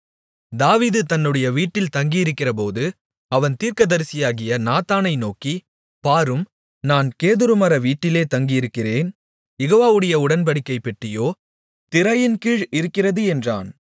தாவீது தன்னுடைய வீட்டில் தங்கியிருக்கிறபோது அவன் தீர்க்கதரிசியாகிய நாத்தானை நோக்கி பாரும் நான் கேதுருமர வீட்டிலே தங்கியிருக்கிறேன் யெகோவாவுடைய உடன்படிக்கைப் பெட்டியோ திரைகளின்கீழ் இருக்கிறது என்றான்